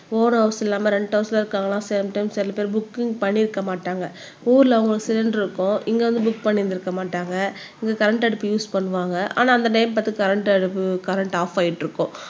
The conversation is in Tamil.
ஓவ்ன் ஹவுஸ் இல்லாம ரெண்ட் ஹவுஸ் இருக்காங்களாம் சில டைம் சில பேர் புக்கிங் பண்ணியிருக்க மாட்டாங்க ஊர்ல ஒரு சிலிண்டர் இருக்கும் இங்க வந்து புக் பண்ணியிருந்திருக்க மாட்டாங்க இங்க கரண்ட் அடுப்பு யூஸ் பண்ணுவாங்க ஆனா அந்தடைம் பார்த்து கரண்ட் அடுப்பு கரண்ட் ஆப் ஆயிட்டிருக்கும்